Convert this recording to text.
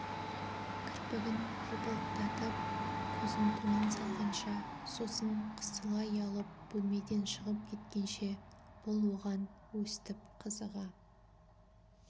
кірпігін жыпылықтатып көзін төмен салғанша сосын қысыла ұялып бөлмеден шығып кеткенше бұл оған өстіп қызыға